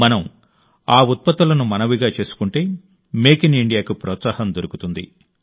మనం ఆ ఉత్పత్తులను మనవిగా చేసుకుంటే మేక్ ఇన్ ఇండియాకు ప్రోత్సాహం దొరుకుతుంది